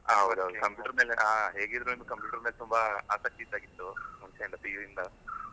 ಹೌದ್ ಹೌದ್ computer ಆ ಹೇಗಿದ್ರು computer ಅಂದ್ರೆ ತುಂಬಾ ಆಸಕ್ತಿ ಇದ್ದ ಹಾಗೆ ಇತ್ತು, ಮುಂಚೆ ಇಂದ PU ಇಂದ .